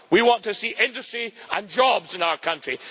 We want to see industry and jobs in our country.